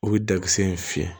U bɛ dakisɛ in fiyɛ